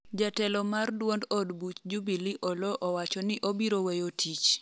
jatelo mar duond od buch jubilee Oloo owacho ni obiro weyo tich